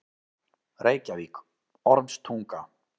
Reykjavík: Ormstunga.